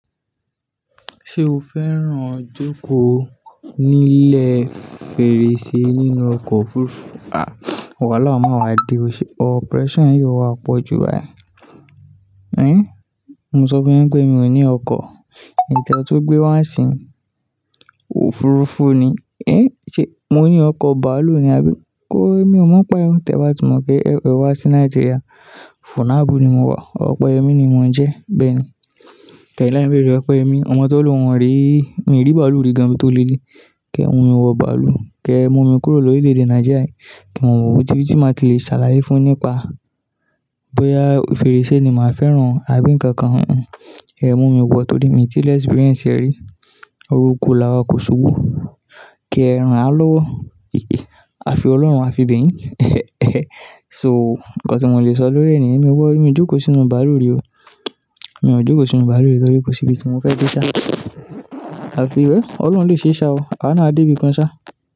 Ṣé o fẹ́ràn jókòó nílẹ̀ fèrèsé nínú ọkọ̀ òfurufú? À, wàhálà má wá di, pressure yóò wá pọ̀ ju báyìí. É, mo sọ fún yin pé mi ò ní ọkọ̀, èyi te tun gbé wá sìn, òfurufú ni. É, ṣe mo ní ọkọ̀ bàálù ni àbí? Ko, èmi ò mọ̀ n paẹ́, tẹ ba ti mọ̀ pé ẹ wá sí Nàìjíríà, funab ni mo wá, ọpẹyemi ni mon jẹ́, bẹ́ẹ̀ ni. Tẹ́ẹ̀ láì beere, ọpeyẹmi, ọmọ tó lo un o ríi, mi rí màálù rí gan ibi tó lé de. Kẹ́, mo ò wọ bàálù. Kẹ́, ẹ mú mi kúrò lórílẹ̀ èdè Nàìjíríà. Kí n wò bí tí máa ti lè ṣàlàyé fún ẹ nípa bóyá fèrèsé ni màá fẹ́ràn àbí ǹkan kan. Ẹ mú mi wọ, torí mi tí experience rí, oruko làwá kò ṣubú, kí ẹran á lọ́wọ́. A fi ọlọ́run, a fi bẹyín. So, ǹkan tí mo lè sọ lórí ènì yẹn, mi wọ̀, mi jókòó sínú bàálù rí o. Mi ò jókòó sínú bàálù rí, torí kò sí ibi tí mo fẹ́ dé ṣá. A fi ẹ, Ọlọ́run lè ṣe ṣá o, awa náa a dé ibi kan ṣá.